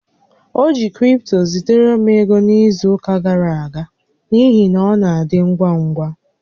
O ji cripto zitere m ego n'izu ụka gara aga n'ihi na ọ na-adị ngwa ngwa